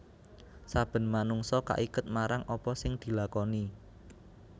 Saben manungsa kaiket marang apa sing dilakoni